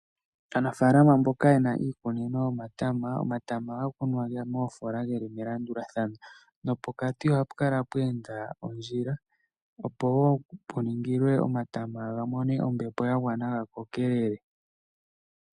Aanafalama mboka yena iikunino yomatama, omatama ohaga kunwa moofola geli melandulathano, nopokati ohapu kala pwa enda ondjila opo wo puningilwe omatama ga mone ombepo, ga kokelele.